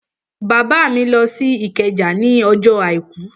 Bàbá mi lọ sí Ìkẹjà ní ọjọ́ àìkú